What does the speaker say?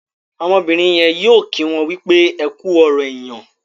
Ọmọbìrìn yén yóò kí wón wípé ẹkú ọrọ èyán.